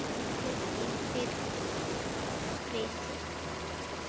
Farðu í friði.